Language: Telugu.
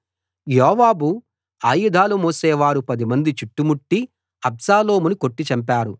యోవాబు ఆయుధాలు మోసేవారు పదిమంది చుట్టుముట్టి అబ్షాలోమును కొట్టి చంపారు